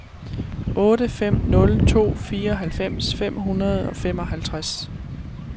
otte fem nul to fireoghalvfems fem hundrede og femoghalvtreds